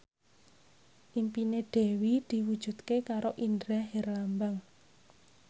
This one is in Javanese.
impine Dewi diwujudke karo Indra Herlambang